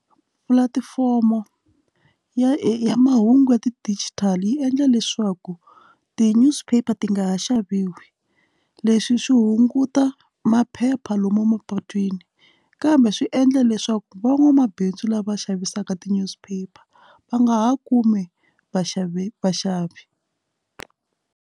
Pulatifomo ya mahungu ya ti-Digital yi endla leswaku ti newspaper ti nga ha xaviwi leswi swi hunguta mapa phepha lomu emapatwini kambe swi endla leswaku van'wamabindzu lava va xavisaka t-newspaper va nga ha kumi vaxavi vaxavi.